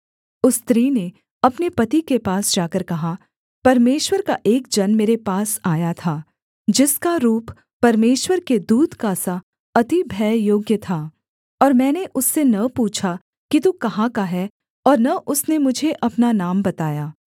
उस स्त्री ने अपने पति के पास जाकर कहा परमेश्वर का एक जन मेरे पास आया था जिसका रूप परमेश्वर के दूत का सा अति भययोग्य था और मैंने उससे न पूछा कि तू कहाँ का है और न उसने मुझे अपना नाम बताया